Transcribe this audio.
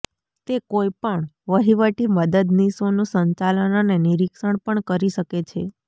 તે કોઈ પણ વહીવટી મદદનીશોનું સંચાલન અને નિરીક્ષણ પણ કરી શકે છે